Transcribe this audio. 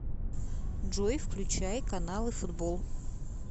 джой включай каналы футбол